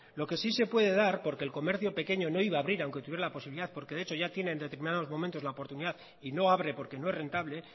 lo que sí se puede dar porque el comercio pequeño no iba a abrir aunque tuviera la posibilidad porque de hecho ya tiene en determinados momentos la oportunidad y no abre porque no es rentable